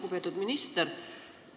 Lugupeetud minister!